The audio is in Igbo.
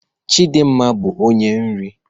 Chidimma bụ onye nri